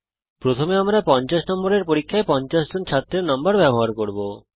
প্রথমে আমরা একটি 50 নম্বরের পরীক্ষায় 50 জন ছাত্রের নম্বর ব্যবহার করব